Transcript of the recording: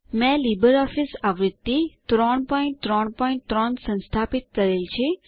મેં લીબરઓફીસ આવૃત્તિ 333 સંસ્થાપિત કરેલ છે